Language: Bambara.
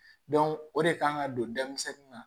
o de kan ka don denmisɛnnin na